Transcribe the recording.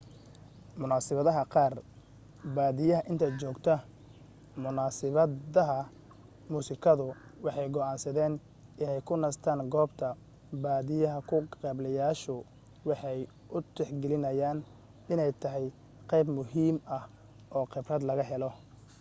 munaasibadaha qaar badiyaa inta joogta munasibadaha musikadu waxay go'aansadaan inay ku nastaan goobta badiyaa ka qaybgaleyaashu waxay u tixgaliyaan inay tahay qayb muhiim ah oo khibrad laga helo